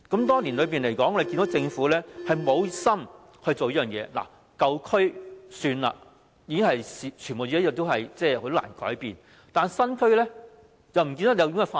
多年來，我們看到政府無心做這件事，舊區也算了，已經很難改變，但是，新區也不見得有這種發展。